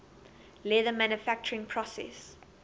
leather manufacturing process